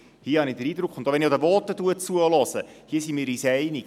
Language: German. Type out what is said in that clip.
Hier habe ich den Eindruck, auch wenn ich die Voten höre, dass wir uns einig sind.